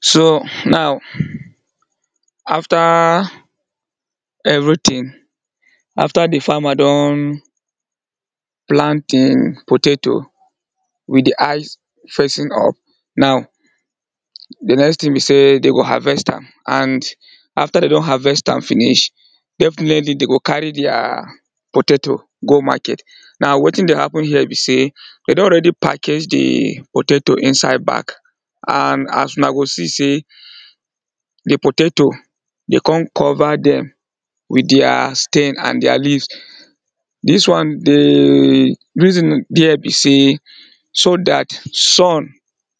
So now after everything, after di farmer don plant im potato with di eyes facing up, now di next thing be sey dem go harvest am and after dem don harvest am finish definitely dey go carry deir potato go market. Now wetin dey happen here be sey, dey don already package di potato inside bag and as una go see sey di potato dem come cover dem with deir stem and deir leaves, dis one dey, di reason dere be sey so dat sun,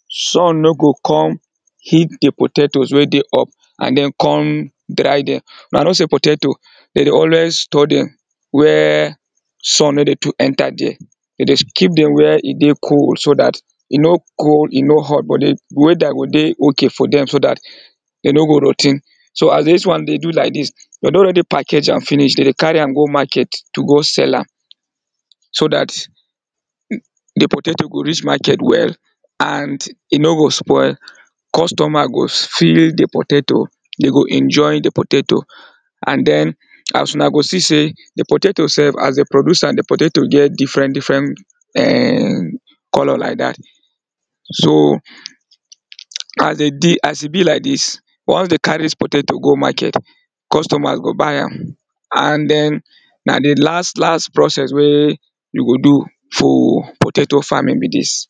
sun no go come heat di potato wey dey up and den come dry dem. Una know sey potato de dey always store dem where sun no dey too enter dere. Dere dey keep dem where e dey cool so dat e no cool, e no hot but weather go dey okay for dem so dat dere no go rot ten. so as dis one dey do like dis, dere don already package am finish, de dey carry am to go market to go sell am, so dat di potato go reach market well and e no go spoil, customer go feel di potato, dey go enjoy di potato and den as una go see sey di potato sef as dey produce am, di potato get different different[um]colour like dat. So as e be like dis once dey carry di potato go market customer go buy am and den na di last last process wey you go do for potato farming be dis.